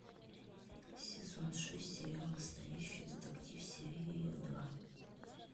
сезон шесть сериал настоящий детектив серия два